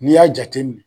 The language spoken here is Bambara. N'i y'a jateminɛ